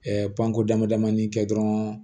panko dama damani kɛ dɔrɔn